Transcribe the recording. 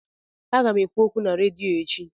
Aga m ekwu okwu na redio echi.